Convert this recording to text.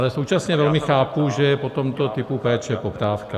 Ale současně velmi chápu, že je po tomto typu péče poptávka.